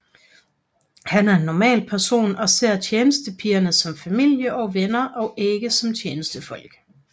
Han er en normal person og ser tjenestepigerne som familie og venner og ikke som tjenestefolk